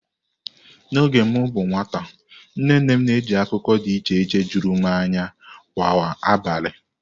N'oge m bụ nwata, nne nne m na-eji akụkọ dị iche iche juru m anya kwa abalị.